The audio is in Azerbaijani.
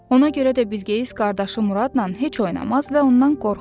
Ona görə də Bilqeyis qardaşı Muradla heç oynamaz və ondan qorxardı.